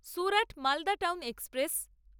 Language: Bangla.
Surat Malda town express